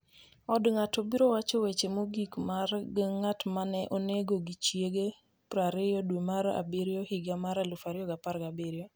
Od ng’ato biro wacho weche mogik mag ng’at ma ne onego gi chiege 20 dwe mar abiriyo higa mar 2017